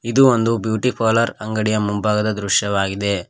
ಇದು ಒಂದು beauty parlour ಅಂಗಡಿಯ ಮುಂಭಾಗದ ದೃಶ್ಯವಾಗಿದೆ.